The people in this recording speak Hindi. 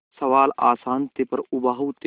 सवाल आसान थे पर उबाऊ थे